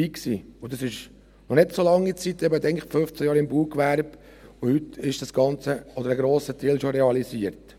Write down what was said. Und das ist noch nicht so lange her – wenn man denkt, 15 Jahre im Baugewerbe –, und heute ist das Ganze oder ein grosser Teil schon realisiert.